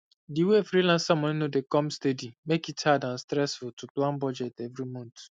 di way the freelancer money no dey come steady make it hard and stressful to plan budget every month